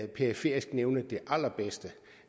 periferisk nævne det allerbedste